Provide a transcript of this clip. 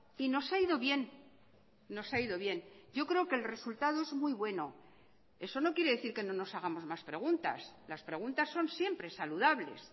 y nos ha ido bien nos ha ido bien yo creo que el resultado es muy bueno eso no quiere decir que no nos hagamos más preguntas las preguntas son siempre saludables